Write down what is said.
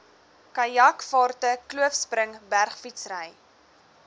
kajakvaarte kloofspring bergfietsry